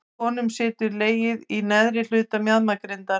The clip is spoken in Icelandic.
Hjá konum situr legið í neðri hluta mjaðmagrindar.